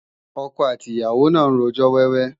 Ọkọ àti ìyàwó náà ń rojọ́ wẹ́wẹ́